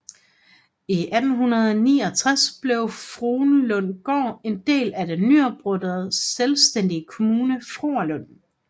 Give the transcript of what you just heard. I 1869 blev Fruerlundgård en del af den nyoprettede selvstændige kommune Fruerlund